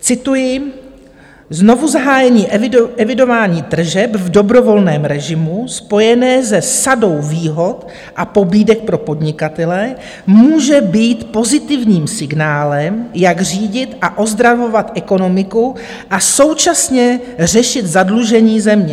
Cituji: Znovuzahájení evidování tržeb v dobrovolném režimu spojené se sadou výhod a pobídek pro podnikatele může být pozitivním signálem, jak řídit a ozdravovat ekonomiku a současně řešit zadlužení země.